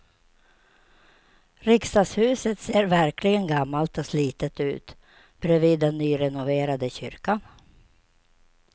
Riksdagshuset ser verkligen gammalt och slitet ut bredvid den nyrenoverade kyrkan.